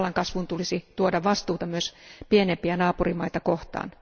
Vallan kasvun tulisi tuoda vastuuta myös pienempiä naapurimaita kohtaan.